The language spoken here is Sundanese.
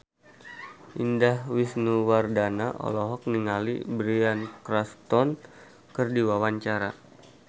Indah Wisnuwardana olohok ningali Bryan Cranston keur diwawancara